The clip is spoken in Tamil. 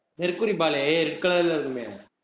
mercury ball red color ல இருக்குமே